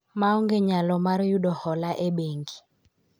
maonge nyalo mar yudo hola e bengi